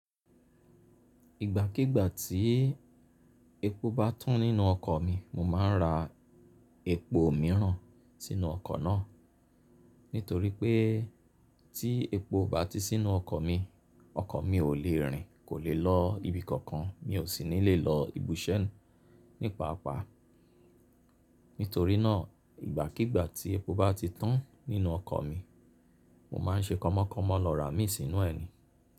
Ìgbàkígbà tí epo bá tan nínú ọkọ̀ mi, mo máa ń ra epo mìíràn sínú ọkọ̀ náà. Nítorí pé tí epo ó bá ti sí nú ọkọ̀ mi, ọkọ̀ mi ò lè rìn, kò lè lọ ibi kankan, mi ò sì ní lè lọ ibùṣẹ́ nípa pá. Nítorí náà ìgbàkígbà tí epo bá ti tan nínú ọkọ̀ mi, mo máa ń ṣe kọmọkọ́mọ lọ rà á mì sínú ẹ̀ ni.